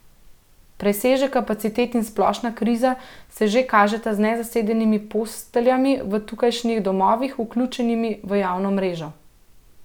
Presežek kapacitet in splošna kriza se že kažeta z nezasedenimi posteljami v tukajšnjih domovih, vključenimi v javno mrežo.